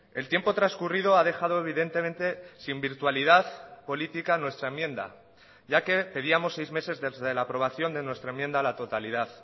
el tiempo transcurrido ha dejado evidentemente sin virtualidad política nuestra enmienda ya que pedíamos seis meses desde la aprobación de nuestra enmienda a la totalidad